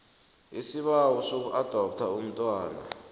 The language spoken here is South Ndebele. isibawo sokuadoptha umntwana